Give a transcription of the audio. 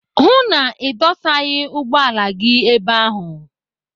Hụụ na Ị dụsaghị ụgbọala gị ebe ahụ!